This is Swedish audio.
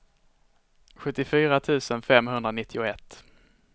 sjuttiofyra tusen femhundranittioett